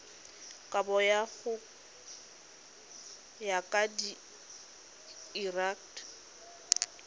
kabo go ya ka lrad